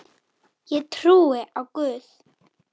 Ég trúi á Guð!